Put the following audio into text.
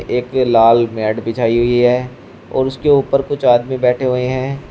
एक लाल मैट बिछाई हुई है और उसके ऊपर कुछ आदमी बैठे हुए हैं।